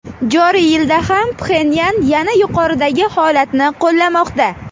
Joriy yilda ham Pxenyan yana yuqoridagi holatni qo‘llamoqda.